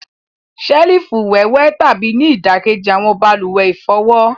Selifu wíwẹtàbí ni idakeji awọn baluwe ifọwọ.